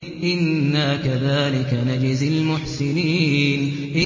إِنَّا كَذَٰلِكَ نَجْزِي الْمُحْسِنِينَ